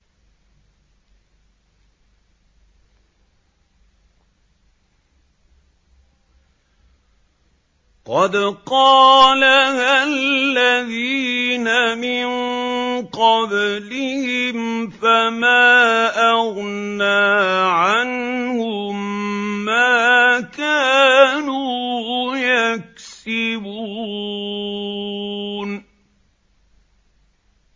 قَدْ قَالَهَا الَّذِينَ مِن قَبْلِهِمْ فَمَا أَغْنَىٰ عَنْهُم مَّا كَانُوا يَكْسِبُونَ